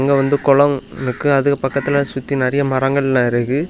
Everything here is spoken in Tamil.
இது வந்து கொலம் இருக்கு அதுக்கு பக்கத்துல சுத்தி நிறைய மரங்கள்லாம் இருக்கு.